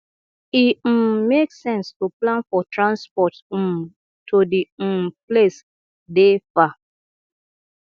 e um make sense to plan for transport um to di um place dey far